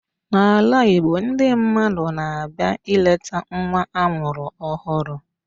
N'ala Igbo, ndị mmadụ na-abịa nleta nwa amụrụ ọhụrụ